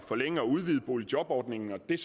forlænge og udvide boligjobordningen og det